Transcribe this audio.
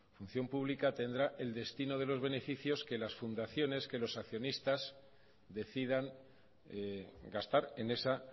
función pública tendrá el destino de los beneficios que las fundaciones que los accionistas decidan gastar en esa